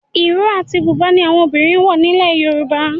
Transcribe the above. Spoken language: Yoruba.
Ìró àti Bùbá ni àwọn obìnrin ń wọ̀ nílẹ̀ Yorùbá